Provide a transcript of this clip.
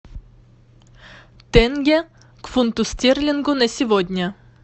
тенге к фунту стерлингу на сегодня